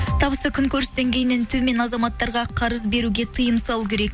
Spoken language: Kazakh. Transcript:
табысы күн көріс деңгейінен төмен азаматтарға қарыз беруге тиым салу керек